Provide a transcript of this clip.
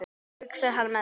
hugsar hann með sér.